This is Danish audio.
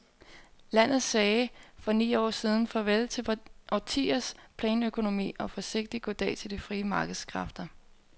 Landet sagde i for ni år siden farvel til årtiers planøkonomi og forsigtigt goddag til de frie markedskræfter.